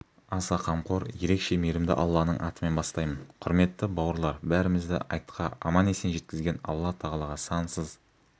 аса қамқор ерекше мейірімді алланың атымен бастаймын құрметті бауырлар бәрімізді айтқа аман-есен жеткізген алла тағалаға сансыз